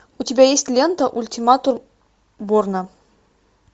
у тебя есть лента ультиматум борна